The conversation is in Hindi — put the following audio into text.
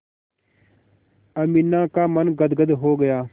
अमीना का मन गदगद हो गया